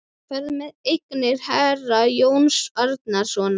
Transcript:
Þú ferð með eignir herra Jóns Arasonar.